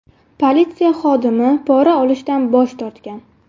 Politsiya xodimi pora olishdan bosh tortgan.